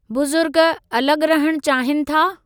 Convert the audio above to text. बुज़ुर्ग अलॻि रहण चाहीनि था?